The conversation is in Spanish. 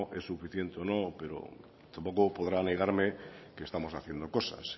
es suficiente o no pero tampoco podrá negarme que estamos haciendo cosas